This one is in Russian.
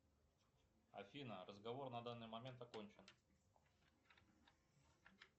афина разговор на данный момент окончен